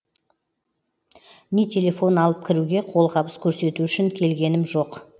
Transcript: не телефон алып кіруге қолғабыс көрсету үшін келгенім жоқ